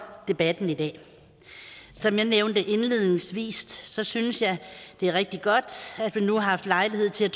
debatten i dag som jeg nævnte indledningsvis synes jeg det er rigtig godt at vi nu har haft lejlighed til